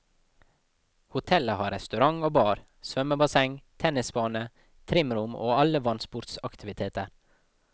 Hotellet har restaurant og bar, svømmebasseng, tennisbane, trimrom og alle vannsportsaktiviteter.